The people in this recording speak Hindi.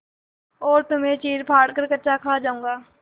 और तुम्हें चीरफाड़ कर कच्चा खा जाऊँगा